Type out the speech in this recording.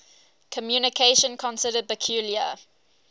communication considered peculiar